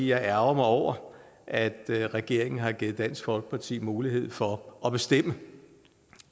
jeg ærgrer mig over at regeringen har givet dansk folkeparti mulighed for at bestemme